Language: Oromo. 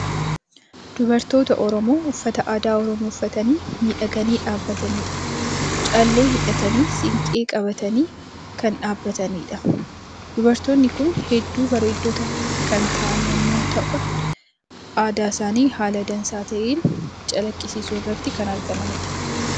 Dubartoota Oromoo uffata aadaa Oromoo uffatanii miidhaganii dhabbatanidha. Callee hidhatanii, siinqee qabatanii kan dhabbatanidha. Dubartoonni kun hedduu bareeddotaa kan ta'an yommuu ta'an aadaa isaanii haala dansaa ta'ee calaqqisiisuu irratti kan argamanidha.